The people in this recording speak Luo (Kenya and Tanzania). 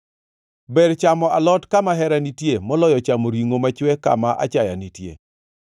Ber chamo alot kama hera nitie, moloyo chamo ringʼo machwe kama achaya nitie.